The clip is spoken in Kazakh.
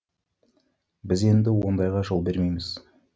біз енді ондайға жол бермейміз